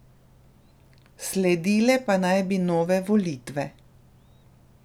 Sledile pa naj bi nove volitve.